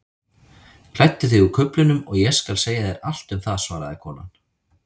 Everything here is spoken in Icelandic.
Klæddu þig úr kuflinum og ég skal segja þér allt um það svaraði konan.